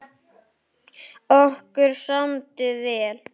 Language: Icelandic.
Okkur samdi vel.